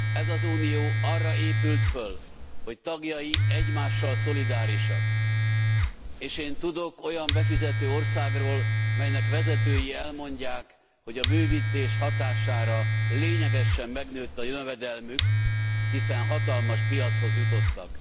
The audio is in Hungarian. Ez az Unió arra épült föl, hogy tagjai egymással szolidárisak, és én tudok olyan befizető országról, melynek vezető elmondják, hogy a bővítés hatására lényegesen megnőtt a jövedelmük, hiszen hatalmas piachoz jutottak.